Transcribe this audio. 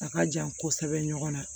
A ka jan kosɛbɛ ɲɔgɔn na